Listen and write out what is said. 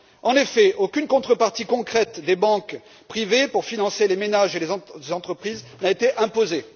En effet, aucune contrepartie concrète des banques privées pour financer les ménages et les entreprises n'a été imposée.